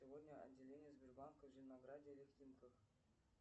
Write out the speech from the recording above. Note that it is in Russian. сегодня отделение сбербанка в зеленограде или в химках